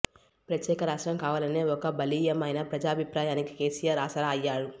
ప్రత్యేక రాష్ట్రం కావాలనే ఒక బలీయమైన ప్రజాభిప్రాయానికి కేసీఆర్ ఆసరా అయ్యారు